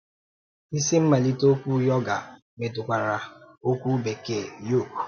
Isi mmalite okwu yoga metụtara okwu Bekee yoke